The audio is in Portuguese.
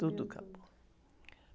Tudo acabou.